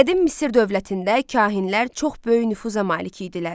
Qədim Misir dövlətində kahinlər çox böyük nüfuza malik idilər.